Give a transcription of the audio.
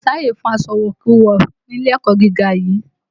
Kò sí àyè fún aṣọ ìwọ̀kuwọ̀ ni ilé ẹ̀kọ́ gíga yìí!